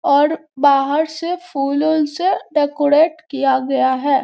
और बाहर से फूलों से डेकोरेट किया गया है।